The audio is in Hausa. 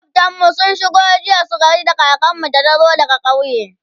makwaftan mu sun shigo jiya su gaida kakanmu da ta zo daga ƙauye